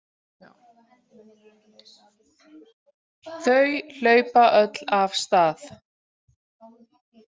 Þau hlaupa öll af stað.